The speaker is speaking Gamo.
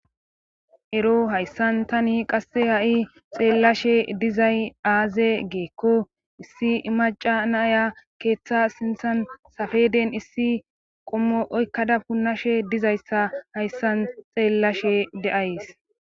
Ero hayssan tani qasse ha7i xeellashe dizay aaze geekko issi maca naya keeththa sinthan safeden issi qommo oykkada punnashe dizayssa hayssan xeellashe de7ays.